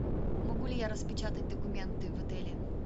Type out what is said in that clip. могу ли я распечатать документы в отеле